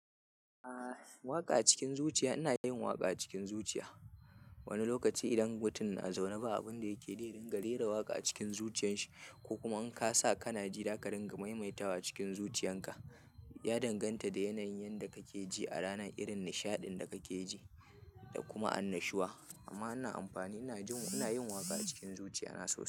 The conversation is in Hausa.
Ah, waƙa a cikin zuciya ina yin waƙa a cikin zuciya. Wani lokaci idan mutum na zaune ba abun da yake da idan ka rera waƙa a cikin zuciyan shi ko kuma in ka sa ka na ji da ka ringa maimaita wa cikin zuciyan ka ya danganta da yanayin da ka ke ji a rana, irin nishaɗin da ka ke ji da kuma annashuwa. Amma ana amfani, ina jin muna yin waƙa a cikin zuciya na sosai.